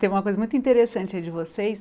Tem uma coisa muito interessante aí de vocês.